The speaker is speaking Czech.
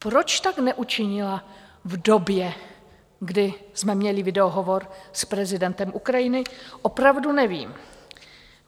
Proč tak neučinila v době, kdy jsme měli videohovor s prezidentem Ukrajiny, opravdu nevím.